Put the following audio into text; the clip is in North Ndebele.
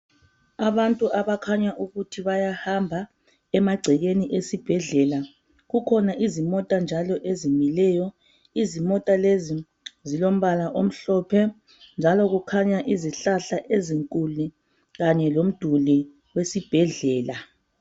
Abantu abakhanya ukuthi bayahamba emacekeni esibhedlela kukhona izimota njalo ezimileyo imota lezo zilompala omhlophe njalo kukhanya izihlahla ezinkulu kanye lomduli wesibhedlela.